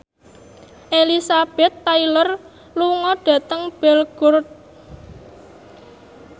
Elizabeth Taylor lunga dhateng Belgorod